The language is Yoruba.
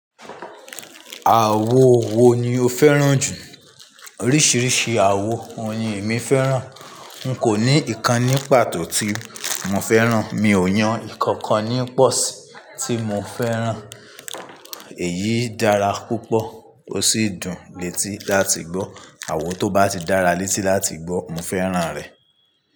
Àwo wo ni o fẹ́ràn jù? Oríṣiríṣi àwo oyin mi fẹ́ràn. N kò ní ìkan ní pàtó tí mo fẹ́ràn. Mi ò yan ǹkan kan nípọ́ sí tí mo fẹ́ràn. Èyí dára púpọ̀ ó sì dùn létí láti gbọ́. Àwo tó bá ti dára létí láti gbọ́ mo fẹ́ràn rẹ̀